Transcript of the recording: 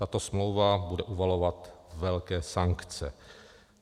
Tato smlouva bude uvalovat velké sankce.